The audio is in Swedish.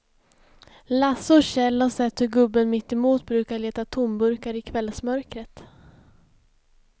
Lasse och Kjell har sett hur gubben mittemot brukar leta tomburkar i kvällsmörkret.